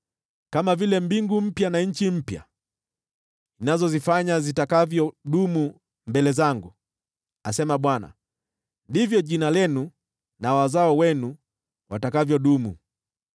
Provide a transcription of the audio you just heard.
“Kama vile mbingu mpya na nchi mpya ninazozifanya zitakavyodumu mbele zangu,” asema Bwana , “ndivyo jina lenu na wazao wenu watakavyodumu.